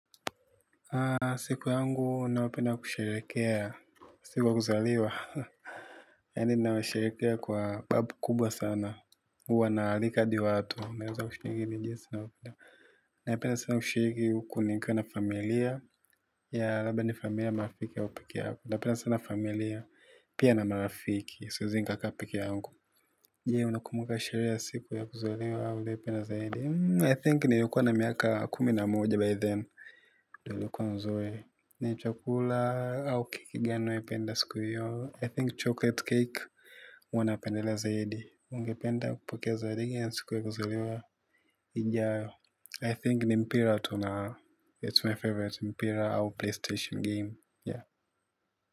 Siku yangu, ninayopenda kusherekea. Siku ya kuzaliwa. Yani ninanyosherekea kwa babu kubwa sana. Uwa naalika adi watu. Na wapea napenda sana kushiriki uku ni nikwa na familia. Ya labda ni familia marafiki au pekee yangu. Napena sana familia. Pia na marafiki. Siwezi nkakaa pekee yangu. Je, unakumuka sherehe ya siku ya kuzaliwa au uliyepena zaidi? I think nilikua na miaka kuminamoja by then. Dolo kwa nzoe ni chokula au kikigano ependa siku hiyo I think chocolate cake uwanapendele zaidi ungependa kupake zaidi ya nsikuwe kuzaliwa i think ni mpira tu its my favourite au PlayStation game.